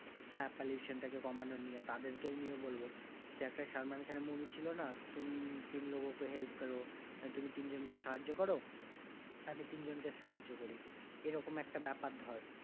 হ্যাঁ pollution টাকে কমানো নিয়ে তাদের কেউ নিয়ে বলবো যে একটা সালমান খান এর movie ছিল না? तुम तीन लोगों को help करो তুমি তিনজনকে সাহায্য করো, আমি তিনজনকে সাহায্য করি এরকম একটা ব্যাপার ধর,